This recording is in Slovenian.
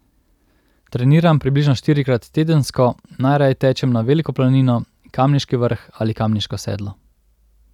Treniram približno štirikrat tedensko, najraje tečem na Veliko planino, Kamniški vrh ali Kamniško sedlo.